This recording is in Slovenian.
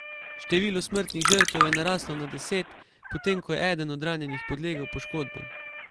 Število smrtnih žrtev je naraslo na deset, potem ko je eden od ranjenih podlegel poškodbam.